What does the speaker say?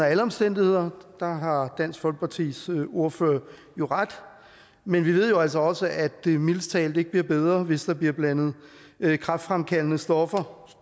alle omstændigheder har dansk folkepartis ordfører jo ret men vi ved jo altså også at det mildest talt ikke bliver bedre hvis der bliver blandet kræftfremkaldende stoffer